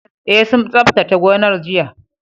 E sun tsaftace gonar jiya